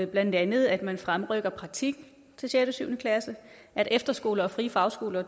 blandt andet at man fremrykker praktik til sjette og syvende klasse at efterskoler og frie fagskoler